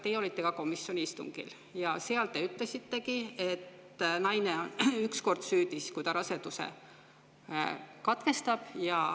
Te olite komisjoni istungil ja seal te ütlesitegi, et naine on süüdi, kui ta raseduse katkestab.